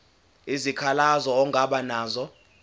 isikhalazo ongaba naso